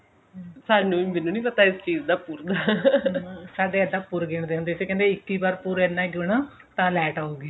ਸਾਨੂੰ ਮੈਨੂੰ ਨਹੀਂ ਪਤਾ ਇਸ ਚੀਜ ਦਾ ਪੁਰਨ ਸਾਡੇ ਏਦਾਂ ਪੂਰਬੀ ਰੱਖਦੇ ਹੁੰਦੇ ਸੀ ਕਹਿੰਦੇ ਸੀ ਇੱਕੀ ਵਾਰੀ ਪੂਰਾ ਇਹਨਾਂ ਗਿਨੋ ਤਾਂ light ਆਉਗੀ